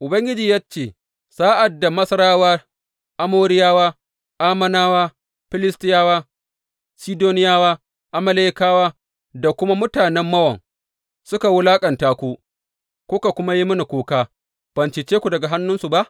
Ubangiji ya ce, Sa’ad da Masarawa, Amoriyawa, Ammonawa, Filistiyawa, Sidoniyawa, Amalekawa da kuma mutanen Mawon suka wulaƙanta ku kuka kuwa yi mini kuka, ban cece ku daga hannunsu ba?